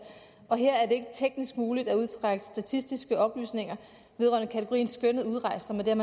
og her er det ikke teknisk muligt at udtrække statistiske oplysninger vedrørende kategorien skønnet udrejst som er den